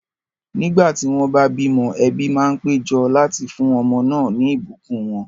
Nígbà tí wọ́n bá bímọ, ẹbí máa ń pé jọ láti fún ọmọ náà ní ìbùkún wọn